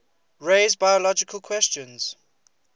raise biological questions